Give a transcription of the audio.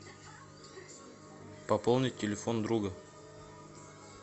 пополнить телефон друга